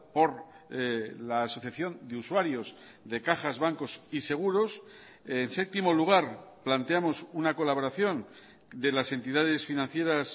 por la asociación de usuarios de cajas bancos y seguros en séptimo lugar planteamos una colaboración de las entidades financieras